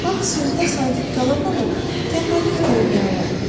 Axı sözünə sadiq qala-qala tənbəllik də eləmək olar.